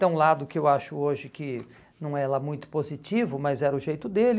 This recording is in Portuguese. Tem um lado que eu acho hoje que não é lá muito positivo, mas era o jeito dele.